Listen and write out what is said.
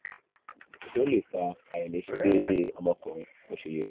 ó lè fa àìlè ṣe déédéé ọmọkùnrin bó ṣe yẹ